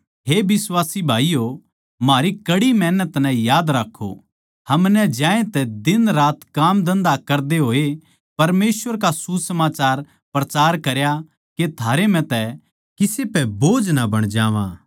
हे बिश्वासी भाईयो म्हारी कड़ी मेहनत नै याद राक्खो हमनै ज्यांतै दिनरात काम धन्धा करदे होए परमेसवर का सुसमाचार प्रचार करया के थारै म्ह तै किसे पै बोझ ना बण जावां